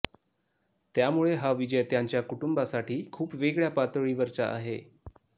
त्यामुळे हा विजय त्यांच्या कुटुंबासाठी खूप वेगळ्या पातळीवरचा आहे